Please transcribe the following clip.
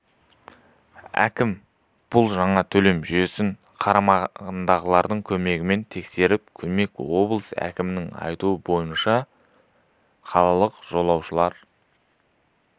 әкім бұл жаңа төлем жүйесін қарамағындағылардың көмегімен тексеріп көрмек облыс әкімінің айтуы бойынша қалалық жолаушылар